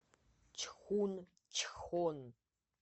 чхунчхон